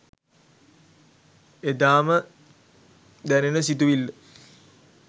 එදාම දැනෙන සිතුවිල්ල